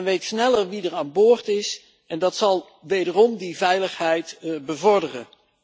Men weet sneller wie er aan boord is en dat zal wederom de veiligheid bevorderen.